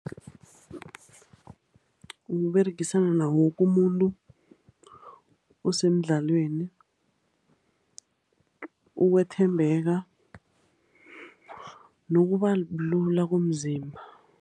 Ukuberegisana nawo woke kumuntu osemdlalweni, ukuthembeka, nokuba lula komzimba